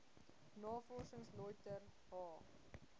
navorsing lötter h